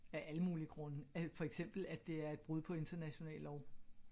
Af alle mulige grunde for eksempel at det er et brud på international lov